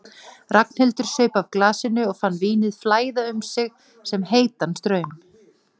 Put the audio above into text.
Ragnhildur saup af glasinu og fann vínið flæða um sig sem heitan straum.